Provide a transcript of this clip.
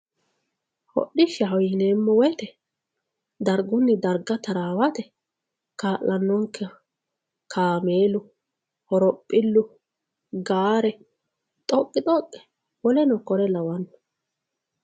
hodhishshaho yineemmo woyiite dargunni darga taraawate kaa'lannonkeho kaameelu horophillu gaare xoqqixoqqe woleno kuri lawanno